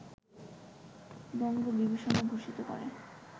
বঙ্গ বিভূষণে ভূষিত করে